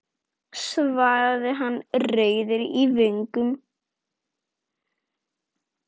svaraði hann rauður í vöngum.